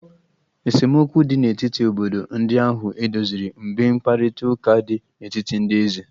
Esemokwu dị n'etiti obodo ndị ahụ edoziri mgbe mkparịta ụka dị n'etiti ndị eze